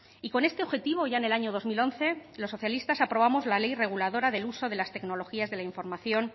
y con este objetivo ya en el año dos mil once los socialistas aprobamos la ley reguladora del uso de las tecnologías de la información